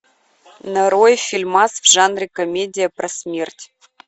нарой фильмас в жанре комедия про смерть